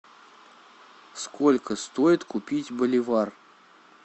сколько стоит купить боливар